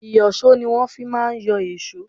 Ìyọ̀ṣó ni wọ́n fi má ń yọ èṣó.